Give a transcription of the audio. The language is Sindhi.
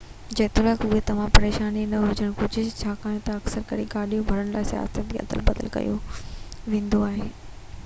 جيتوڻيڪ اهو توهان جي پريشاني نه هجڻ گهرجي ڇاڪاڻ ته اڪثر ڪري گاڏيون ڀرڻ لاءِ سياحن کي ادل بدل ڪيو ويندو آهي